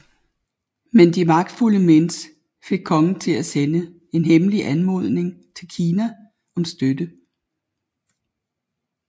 Men de magtfulde Mins fik kongen til at sende en hemmelig anmodning til Kina om støtte